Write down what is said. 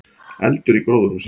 Eldur í gróðurhúsi